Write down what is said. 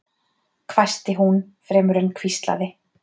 hvæsti hún fremur en hvíslaði